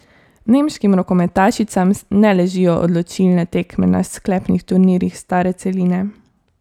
Nemškim rokometašicam ne ležijo odločilne tekme na sklepnih turnirjih stare celine.